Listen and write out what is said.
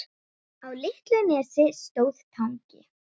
Á litlu nesi stóð Tangi.